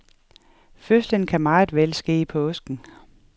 Fødslen kan meget vel ske i påsken.